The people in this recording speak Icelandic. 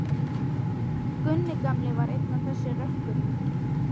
Gunni gamli var einn af þessum rökkurum.